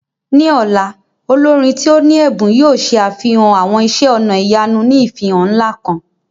Ní ọ̀la, olorin ti o ni ẹbun yoo ṣe àfihàn awọn iṣẹ ọnà ìyanu ní ìfihàn ńlá kan.